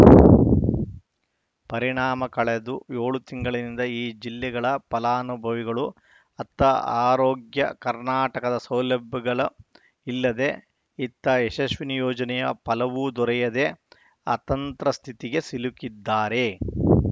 ಪರಿಣಾಮ ಕಳೆದು ಏಳು ತಿಂಗಳಿನಿಂದ ಈ ಜಿಲ್ಲೆಗಳ ಫಲಾನುಭವಿಗಳು ಅತ್ತ ಆರೋಗ್ಯ ಕರ್ನಾಟಕದ ಸೌಲಭ್ಯಗಳು ಇಲ್ಲದೆ ಇತ್ತ ಯಶಸ್ವಿನಿ ಯೋಜನೆಯ ಫಲವೂ ದೊರೆಯದೇ ಅತಂತ್ರ ಸ್ಥಿತಿಗೆ ಸಿಲುಕಿದ್ದಾರೆ